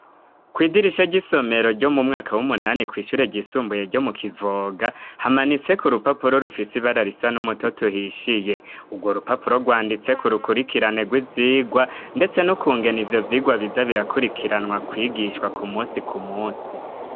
Kw'idirisha ry'isomero ryo mu mwaka w'umunani kw'ishure ryisumbuye ryo mu Kivoga, hamanitseko urupapuro rufise ibara risa n'umutoto uhishiye, urwo rupapuro rwanditseko urukurikirane rw'ivyigwa ndetse nukungene ivyo vyigwa biza birakurikiranwa kwigishwa ku musi ku musi.